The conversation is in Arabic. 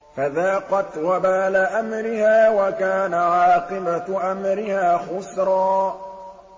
فَذَاقَتْ وَبَالَ أَمْرِهَا وَكَانَ عَاقِبَةُ أَمْرِهَا خُسْرًا